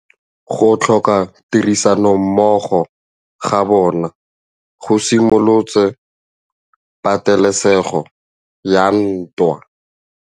Go tlhoka tirsanommogo ga bone go simolotse patêlêsêgô ya ntwa.